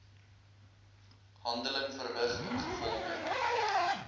handeling verrig ingevolge